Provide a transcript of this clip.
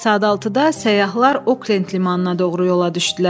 Səhər saat 6-da səyyahlar Oklent limanına doğru yola düşdülər.